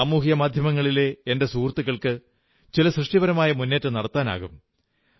സാമൂഹിക മാധ്യമങ്ങളിലെ എന്റെ സുഹൃത്തുക്കൾക്ക് ചില സൃഷ്ടിപരമായ മുന്നേറ്റം നടത്താനാകും